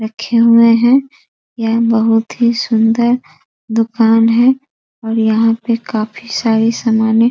रखे हुए हैं यह बहोत ही सुंदर दुकान है और यहाँ पे काफी सारे सामाने--